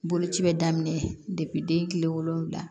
Boloci bɛ daminɛ den tile wolonfila